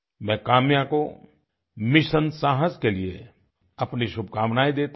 मैं काम्या को मिशन साहस के लिए अपनी शुभकामनाएं देता हूँ